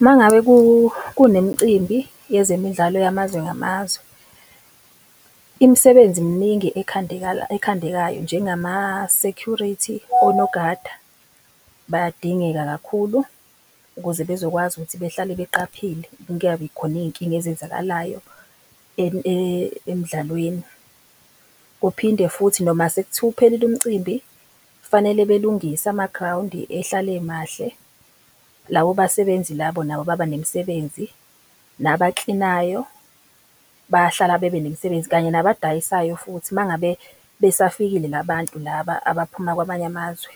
Uma ngabe kunemicimbi yezemidlalo yamazwe ngamazwe, imisebenzi mningi ekhandekayo, njengama-security, onogada, bayadingeka kakhulu ukuze bezokwazi ukuthi behlale beqaphile kungabi khona iy'nkinga ezenzakalayo emdlalweni. Kuphinde futhi noma sekuthiwa uphelile umcimbi, kufanele belungise amagrawundi ehlale emahle, labo basebenzi labo nabo baba nemisebenzi. Nabakilinayo bayahlala bebe nemisebenzi, kanye nabadayisayo futhi uma ngabe besafikile la bantu laba abaphuma kwamanye amazwe,